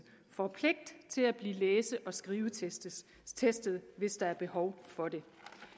får pligt til at blive læse og skrivetestet hvis der er behov for det